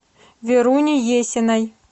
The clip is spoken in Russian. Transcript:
веруни есиной